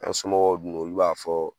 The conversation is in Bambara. An somɔgɔw dun olu b'a fɔ